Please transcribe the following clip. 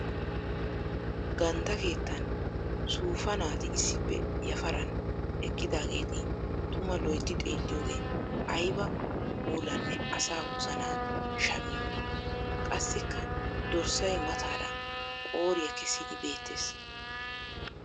Gandda keettan suufa naati issippe yafaran eqqidaageeti tuma loytti xeelliyodde aybba puulanne asaa wozana shammiyoona! Qassikka dorssay mataara qooriya kessiddi beettees.